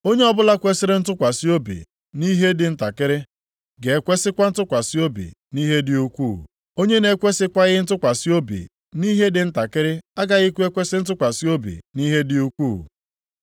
“Onye ọbụla kwesiri ntụkwasị obi nʼihe dị ntakịrị, ga-ekwesikwa ntụkwasị obi nʼihe dị ukwuu. Onye na-ekwesikwaghị ntụkwasị obi nʼihe dị ntakịrị, agaghịkwa ekwesi ntụkwasị obi nʼihe dị ukwuu.